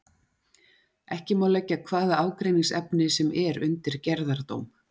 Ekki má leggja hvaða ágreiningsefni sem er undir gerðardóm.